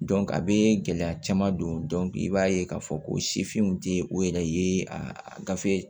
a bɛ gɛlɛya caman don i b'a ye k'a fɔ ko sifinw tɛ o yɛrɛ ye a gafe